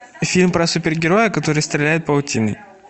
фильм про супергероя который стреляет паутиной